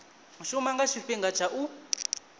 shuma nga tshifhinga tsha u